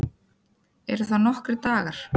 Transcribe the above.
Eru það nokkrir dagar?